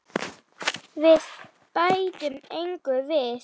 Við bætum engu við.